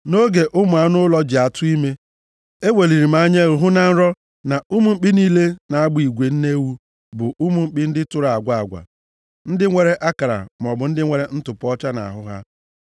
“Nʼoge ụmụ anụ ụlọ ji atụ ime, eweliri m anya hụ na nrọ na ụmụ mkpi niile na-agba igwe nne ewu bụ ụmụ mkpi ndị tụrụ agwa agwa, ndị nwere akara maọbụ ndị nwere ntụpọ ọcha nʼahụ ha.